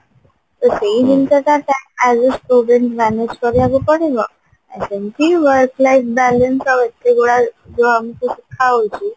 ତ ସେଇ ଜିନିଷ ଟା time adjust manage କରିବାକୁ ପଡିବ ଆଉ ସେମିତି work life balance ଆଉ ସେଗୁଡା ଯାହା ଆମକୁ ସିଖା ହଉଛି